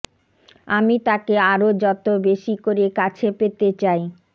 আমি তাকে আরও যতো বেশি করে কাছে পেতে চাই